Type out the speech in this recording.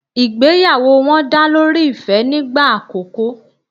Ìgbéyàwó wọn dá lórí ìfẹ́ nígbà àkòko